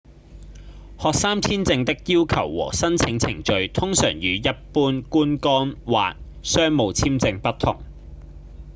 學生簽證的要求和申請程序通常與一般觀光或商務簽證不同